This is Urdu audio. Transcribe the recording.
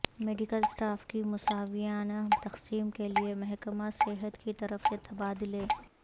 میڈیکل اسٹاف کی مساویانہ تقسیم کیلئے محکمہ صحت کی طرف سے تبادلے